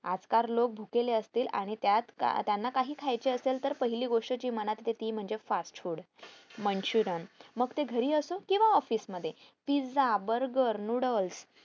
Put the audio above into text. आजकाल लोक भुकेले असतील आणि त्यांना काही खायचे असेल तर पहिली गोष्ट जी मनात येते ती fast foodmachurian मग ते घरी असो किंवा office मध्ये pizza burger noodels